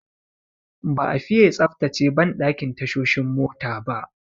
Ba'a fiye tsaftace banɗakin tashoshin mota ba.